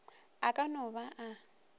a ka no ba a